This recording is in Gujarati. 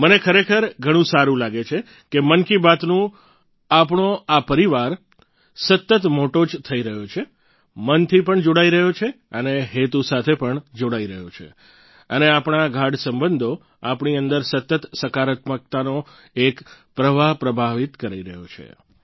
મને ખરેખર ઘણું સારું લાગે છે કે મન કી બાત નું આપણો આ પરિવાર સતત મોટો જ થઈ રહ્યો છે મન થી પણ જોડાઈ રહ્યા છે અને હેતુ સાથે પણ જોડાઈ રહ્યા છે અને આપણા ગાઢ સંબંધો આપણી અંદર સતત સકારાત્મકતાનો એક પ્રવાહ પ્રવાહિત કરી રહ્યા છીએ